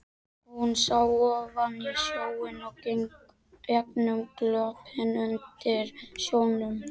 Hún sá ofan í sjóinn og gegnum klöppina undir sjónum.